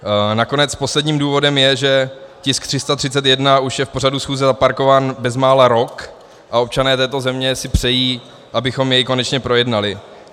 Nakonec posledním důvodem je, že tisk 331 už je v pořadu schůze zaparkován bezmála rok a občané této země si přejí, abychom jej konečně projednali.